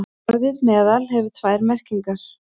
Orðið meðal hefur tvær merkingar.